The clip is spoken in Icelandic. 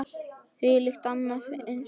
Þvílíkt og annað eins frelsi!